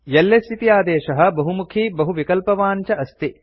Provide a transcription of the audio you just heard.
LS इति आदेशः बहुमुखी बहुविकल्पवान् च अस्ति